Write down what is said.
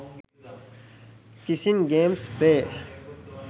kissing games play